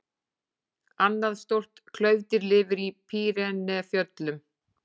Annað stórt klaufdýr lifir í Pýreneafjöllum.